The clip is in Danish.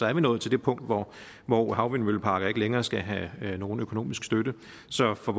er vi nået til det punkt hvor hvor havvindmølleparker ikke længere skal have nogen økonomisk støtte så for